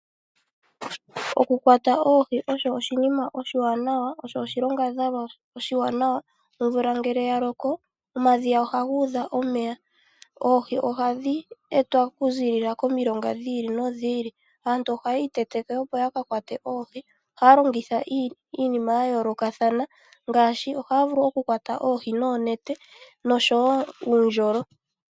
Okukwata oohi osho oshinima oshiwanawa, osho oshinyangadhalwa oshiwanawa. Omvula ngele ya loko omadhiya ohaga udha omeya. Oohi ohadhi etwa okuzilila komilonga dhi ili nodhi ili. Aantu ohaya itetuka opo ya ka kwate oohi. Ohaya longitha iinima ya yoolokathana ngaashi oonete noshowo oondjolo.